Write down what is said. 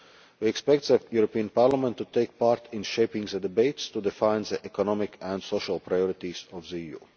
report. We expect the European Parliament to take part in shaping the debates to define the economic and social priorities of